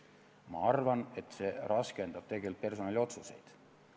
Ma arvan, et see raskendab tegelikult personaliotsuseid.